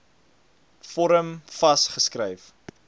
vorm vas geskryf